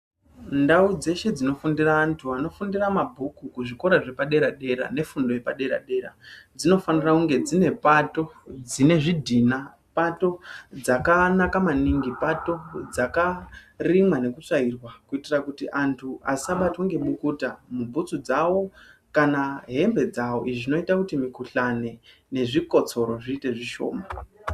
Ndau dzeshe dzinofundira antu anofundira mabhuku kuzvikora zvepadera dera nefundo yepadera dera dzinofanira kunge dzine pato dzine zvidhina, pato dzakanaka maningi. Pato dzakarimwa nekutsvairwa kuitira kuti antu asabatwe ngemukuta mubhutsu dzawo kana hembe dzavo. Izvi zvinoita kuti mikuhlani nezvikotsoro zviite zvishoma